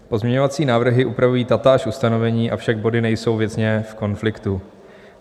Pozměňovací návrhy upravují tatáž ustanovení, avšak body nejsou věcně v konfliktu.